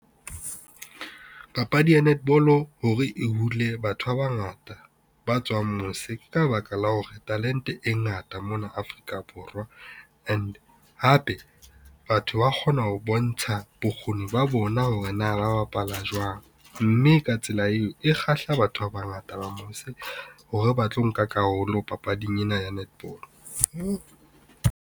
Papadi ya netball hore e hule batho ba bangata ba tswang mose ke ka baka la hore talente e ngata mona Afrika Borwa. And hape, batho ba kgona ho bontsha bokgoni ba bona hore na ba bapala jwang. Mme ka tsela eo e kgahla batho ba bangata ba mose hore ba tlo nka karolo papading ena ya netball.